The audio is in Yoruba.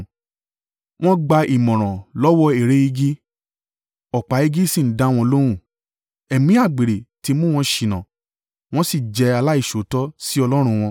Wọ́n ń gba ìmọ̀ràn lọ́wọ́ ère igi ọ̀pá igi sì ń dá wọn lóhùn. Ẹ̀mí àgbèrè ti mú wọn ṣìnà wọ́n sì jẹ́ aláìṣòótọ́ sí Ọlọ́run wọn.